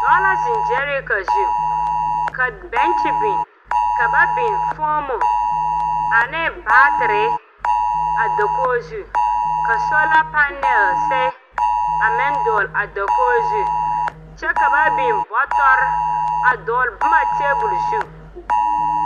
Dɔɔ la ziŋ gyɛɛreka zu kyɛ ka bɛŋkye meŋ biŋ ka foomo ane baateɛ meŋ biŋ a dakogi zu. Sola panal meŋ biŋ la a dakogi zu kyɛ ka bɔtɔr ane bonma dɔgle tabol zu